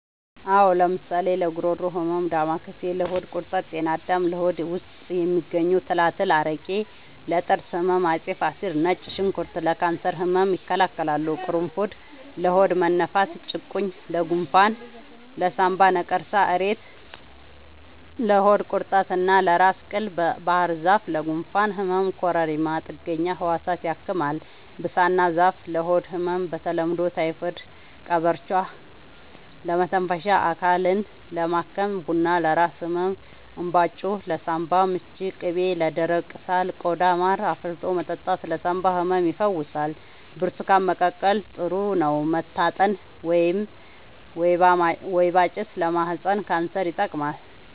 አዎ ለምሳሌ ለጉሮሮ ህመም ዳማከሴ ለሆድ ቁርጠት ጤና አዳም ለሆድ ውስጥ የሚገኙ ትላትል አረቄ ለጥርስ ህመም አፄ ፋሪስ ነጭ ሽንኩርት ለካንሰር ህመም ይከላከላል ቁሩፉድ ለሆድ መነፋት ጭቁኝ ለጎንፋን ለሳንባ ነቀርሳ እሬት ለሆድ ቁርጠት እና ለራስ ቅል ባህርዛፍ ለጉንፋን ህመም ኮረሪማ ጥገኛ ህዋሳትን ያክማል ብሳና ዛፍ ለሆድ ህመም በተለምዶ ታይፎድ ቀበርቿ ለመተንፈሻ አካልን ለማከም ቡና ለራስ ህመም እንባጮ ለሳንባ ምች ቅቤ ለደረቀ ቆዳ ማር አፍልቶ መጠጣት ለሳንባ ህመም ይፈውሳል ብርቱካን መቀቀል ጥሩ ነው መታጠን ወይባ ጭስ ለማህፀን ካንሰር ይጠቅማል